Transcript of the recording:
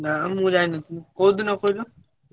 ନାଁ ମନ ଯାଇନଥିଲି କୋଉଦିନ କହିଲ?